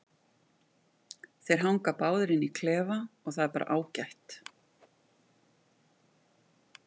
Þeir hanga báðir inni á klefa og það er bara ágætt.